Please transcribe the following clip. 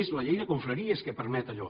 és la llei de confraries que permet allò